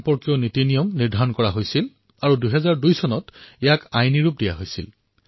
Indian flag code প্ৰস্তুত কৰা হল আৰু ২০০২ চনত ইয়াত স্থাপিত কৰা হল